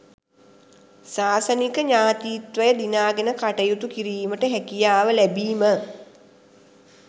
ශාසනික ඥතීත්වය දිනාගෙන කටයුතු කිරීමට හැකියාව ලැබීම